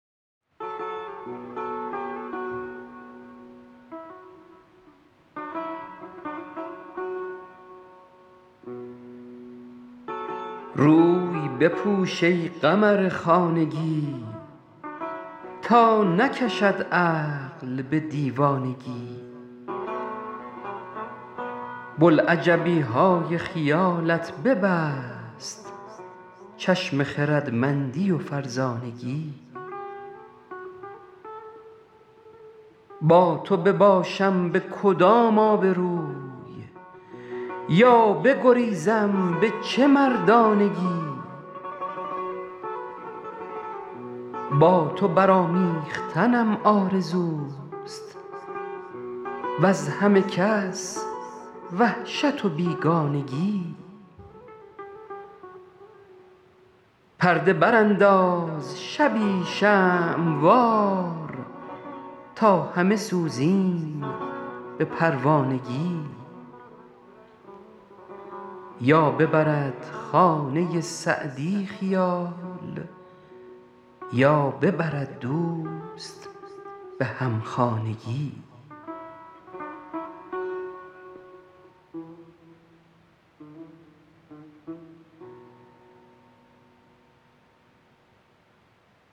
روی بپوش ای قمر خانگی تا نکشد عقل به دیوانگی بلعجبی های خیالت ببست چشم خردمندی و فرزانگی با تو بباشم به کدام آبروی یا بگریزم به چه مردانگی با تو برآمیختنم آرزوست وز همه کس وحشت و بیگانگی پرده برانداز شبی شمع وار تا همه سوزیم به پروانگی یا ببرد خانه سعدی خیال یا ببرد دوست به همخانگی